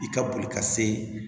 I ka boli ka se